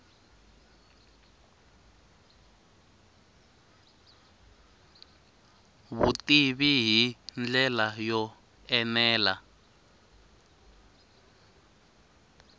vutivi hi ndlela yo enela